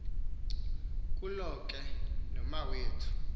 kuloko ke nomawethu